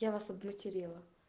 я вас обматерила